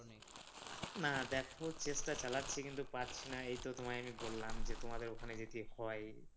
না দেখো চেষ্টা চালাচ্ছি কিন্তু পারছিনা এইতো তোমায় বললাম যে তোমাদের ওখানে যদি হয়